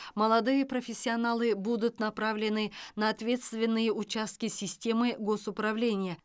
молодые профессионалы будут направлены на ответственные участки системы госуправления